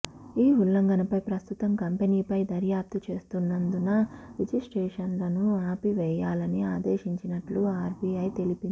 ఈ ఉల్లంఘనపై ప్రస్తుతం కంపెనీపై దర్యాప్తు చేస్తున్నందున రిజిస్ట్రేషన్లను ఆపివేయాలని ఆదేశించినట్లు ఆర్బిఐ తెలిపింది